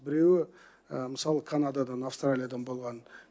біреуі мысалы канададан австралиядан болған